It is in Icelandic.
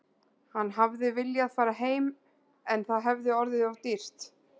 Hann hefði viljað fara heim en það hefði orðið of dýrt.